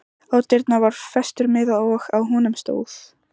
Á dyrnar var festur miði og á honum stóð